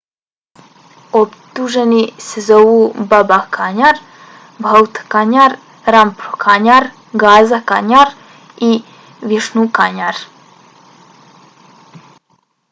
optuženi se zovu baba kanjar bhutha kanjar rampro kanjar gaza kanjar i vishnu kanjar